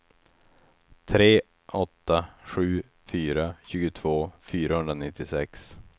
tre åtta sju fyra tjugotvå fyrahundranittiosex